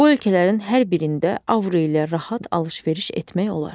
Bu ölkələrin hər birində avro ilə rahat alış-veriş etmək olar.